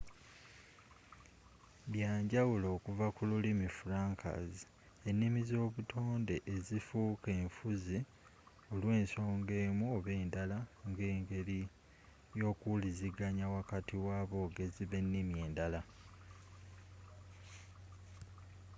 byanjawulo okuva ku lulimi franca's ennimi ezobutonde ezifuuka enfuzi olw'ensonga emu oba endala nga engeri y'okuwuliziganya wakati w'abogezi b'ennimi endala